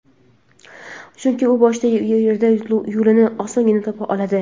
Chunki u boshqa yerda yo‘lini osongina topa oladi.